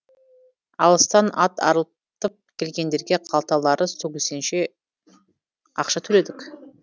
алыстан ат арылтып келгендерге қалталары сөгілсенше ақша төледік